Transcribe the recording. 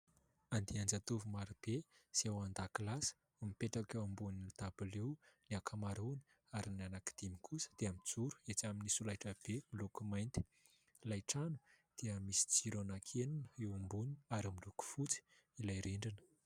Andian-jatovo marobe izay ao an-dakilasy, mipetraka eo ambonin'ny dabilio ny ankamaroany ary ny anankidimy kosa dia mijoro etsy amin'ny solaitrabe miloko mainty. Ilay trano dia misy jiro anankienina eo ambony ary miloko fotsy ilay rindrina.